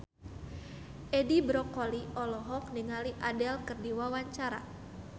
Edi Brokoli olohok ningali Adele keur diwawancara